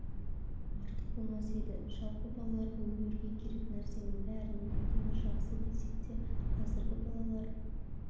артық болмас еді жалпы балаларға өмірге керек нәрсенің бәрін білгені жақсы десек те қазіргі балалар